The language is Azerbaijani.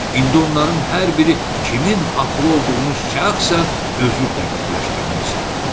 İndi onların hər biri kimin haqlı olduğunu şəxsən özü dəqiqləşdirmək istəyirdi.